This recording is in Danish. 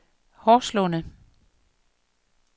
Horslunde